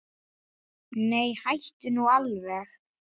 Nei, hættu nú alveg.